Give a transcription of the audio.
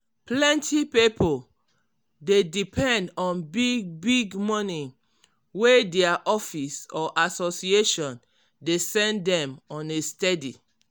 plenty pipo dey depend on big-big money wey dia office or association dey send dem on a steady.